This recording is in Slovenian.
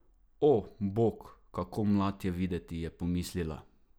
O, bog, kako mlad je videti, je pomislila.